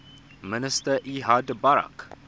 minister ehud barak